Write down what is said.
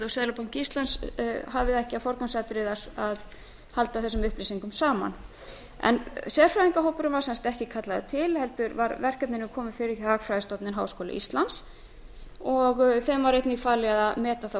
og seðlabanki íslandi hafi það ekki sem forgangsatriði að halda þessum upplýsingum saman sérfræðingahópurinn var sem sagt ekki kallaður til heldur var verkefninu komið fyrir hjá hagfræðistofnun háskóla íslands og var henni einnig falið að meti þá